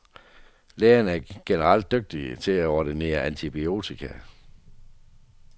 Lægerne er generelt dygtige til at ordinere antibiotika.